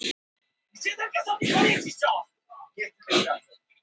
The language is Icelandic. En er ekki skemmtilegri áskorun að fá að vinna með heimamenn en aðkomumenn?